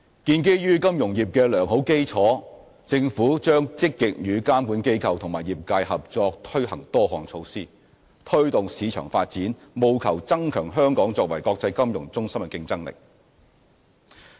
建基於金融業的良好基礎，政府將積極與監管機構及業界合作推行多項措施，推動市場發展，務求增強香港作為國際金融中心的競爭力。